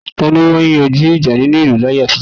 Tani ó máa ń yanjú ìjà nínú ìlú láyé àtijó?